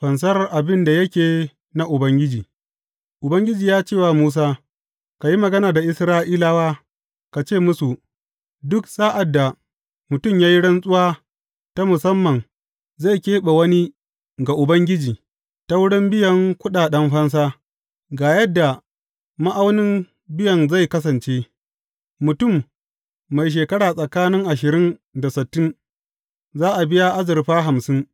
Fansar abin da yake na Ubangiji Ubangiji ya ce wa Musa, Ka yi magana da Isra’ilawa, ka ce musu, Duk sa’ad da mutum ya yi rantsuwa ta musamman zai keɓe wani ga Ubangiji, ta wurin biyan kuɗaɗen fansa, ga yadda ma’aunin biyan zai kasance, mutum mai shekara tsakanin ashirin da sittin, za a biya azurfa hamsin.